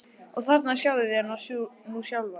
Og þarna sjáið þið nú sjálfan